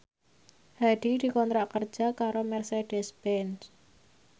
Hadi dikontrak kerja karo Mercedez Benz